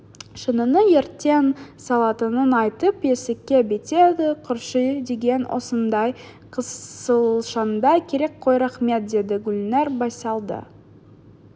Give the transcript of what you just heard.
шыныны ертең салатынын айтып есікке беттеді көрші деген осындай қысылшаңда керек қой рахмет деді гүлнәр байсалды